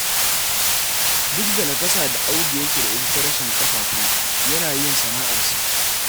Duk da nakasa da Audu yake da ita ta rashin ƙafafu, yana yin sana'arsa.